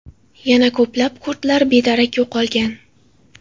Yana ko‘plab kurdlar bedarak yo‘qolgan.